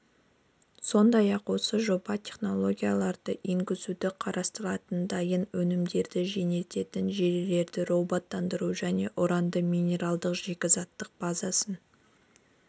сондай-ақ ол осы жоба технологияларды енгізуді қарастыратынын дайын өнімдерді жөнелтетін желілерді роботтандыруды және уранның минералдық-шикізаттық базасын